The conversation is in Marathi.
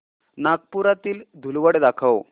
नागपुरातील धूलवड दाखव